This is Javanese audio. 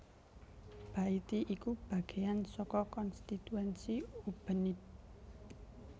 Baiti iku bagéan saka konstituensi Ubenide